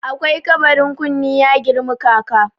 akwai kabarin kunne ya girmi kaka